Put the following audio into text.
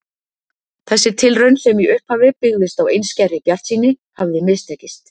Þessi tilraun, sem í upphafi byggðist á einskærri bjartsýni, hafði mistekist.